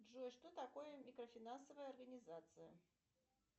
джой что такое микрофинансовая организация